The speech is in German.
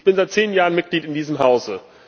Ich bin seit zehn Jahren Mitglied in diesem Hause.